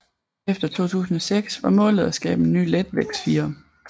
Efter 2006 var målet at skabe en ny letvægtsfirer